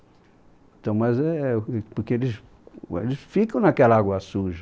Então, mas é, porque eles, eles ficam naquela água suja.